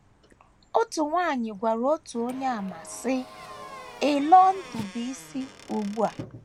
Otu nwanyị gwara otu Onyeàmà, sị: “ Ị lawNdubuisiụ ugbu a.